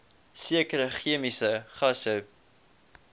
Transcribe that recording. sekere chemiese gasse